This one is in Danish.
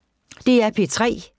DR P3